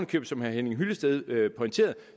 købet som herre henning hyllested pointerede